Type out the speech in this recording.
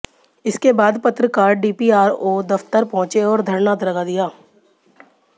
इसके बाद पत्रकार डीपीआरओ दफ्तर पहुंचे और धरना लगा दिया